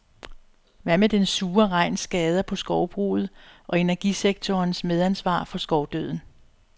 Hvad med den sure regns skader på skovbruget og energisektorens medansvar for skovdøden?